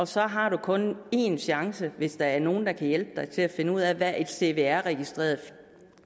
så har man kun én chance hvis der er nogen der kan hjælpe en til at finde ud af hvad et cvr registreret